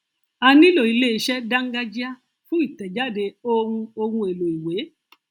a nílò ilé iṣẹ dángájíá fún ìtẹjáde ohun ohun èlò ìwé